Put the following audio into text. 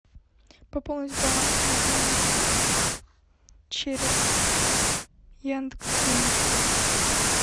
пополнить баланс мобильного телефона через яндекс деньги